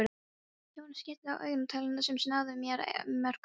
Hjónin skiptust á augnatilliti sem sagði meira en mörg orð.